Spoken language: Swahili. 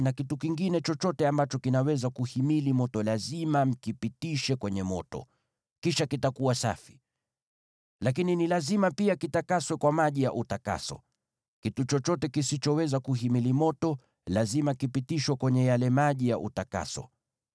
na kitu kingine chochote ambacho kinaweza kuhimili moto lazima mkipitishe kwenye moto, kisha kitakuwa safi. Lakini ni lazima pia kitakaswe kwa maji ya utakaso. Kitu chochote kisichoweza kuhimili moto lazima kipitishwe kwenye yale maji ya utakaso.